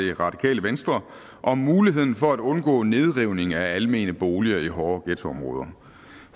det radikale venstre om muligheden for at undgå nedrivning af almene boliger i hårde ghettoområder